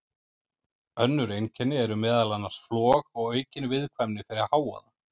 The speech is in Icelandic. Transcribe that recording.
Önnur einkenni eru meðal annars flog og aukin viðkvæmni fyrir hávaða.